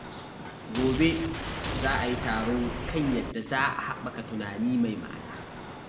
Gobe, za a yi taro kan yadda za a haɓaka tunani mai ma'ana.